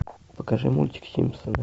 покажи мультик симпсоны